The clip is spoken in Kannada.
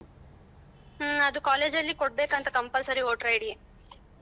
ಹ್ಮ ಅದು college ಲಿ ಕೊಡಬೇಕಂತೆ compulsory voter ID .